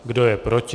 Kdo je proti?